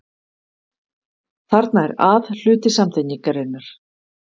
Þarna er að hluti samtengingarinnar.